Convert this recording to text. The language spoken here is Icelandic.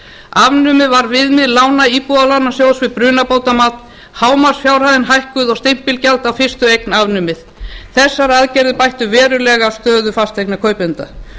afnumið var viðmið lána íbúðalánasjóðs við brunabótamat hámarksfjárhæðin hækkuð og stimpilgjald á fyrstu eign afnumið þessar aðgerðir bættu verulega stöðu fasteignakaupenda